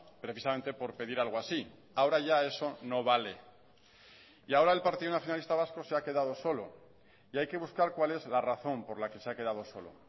precisamente por pedir algo así ahora ya eso no vale y ahora el partido nacionalista vasco se ha quedado solo y hay que buscar cuál es la razón por la que se ha quedado solo